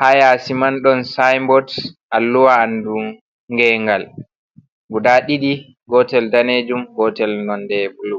ha yasi man don simbot alluwa andum ngengal guɗa ɗidi gotel ɗanejum gotel nonɗe bulu.